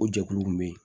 O jɛkuluw bɛ yen